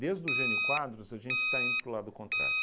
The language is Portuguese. do Gênio Quadros, a gente está indo para o lado contrário.